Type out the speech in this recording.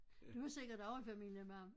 Du er sikkert også i familie med ham